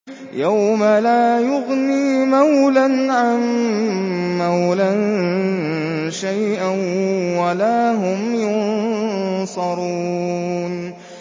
يَوْمَ لَا يُغْنِي مَوْلًى عَن مَّوْلًى شَيْئًا وَلَا هُمْ يُنصَرُونَ